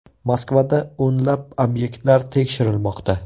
Moskvada o‘nlab obyektlar tekshirilmoqda.